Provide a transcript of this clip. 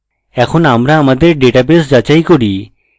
এখন আবার আমাদের ডেটাবেস যাচাই করি